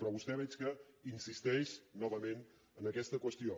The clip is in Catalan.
però vostè veig que insisteix nova·ment en aquesta qüestió